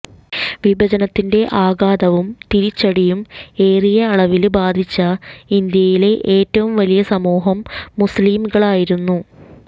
വിഭജനത്തിന്റെ ആഘാതവും തിരിച്ചടിയും ഏറിയ അളവില് ബാധിച്ച ഇന്ത്യയിലെ ഏറ്റവും വലിയ സമൂഹം മുസ്ലിംകളായിരുന്നു